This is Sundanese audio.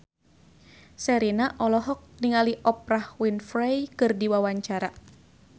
Sherina olohok ningali Oprah Winfrey keur diwawancara